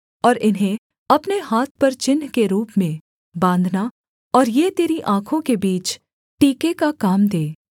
और इन्हें अपने हाथ पर चिन्ह के रूप में बाँधना और ये तेरी आँखों के बीच टीके का काम दें